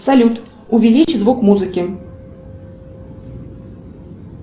салют увеличь звук музыки